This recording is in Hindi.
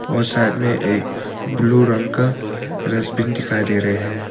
और साथ में एक ब्लू रंग का डस्टबिन दिखाई दे रहे हैं।